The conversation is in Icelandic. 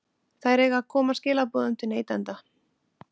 Þær eiga að koma skilaboðum til neytenda.